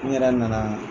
N yɛrɛ nana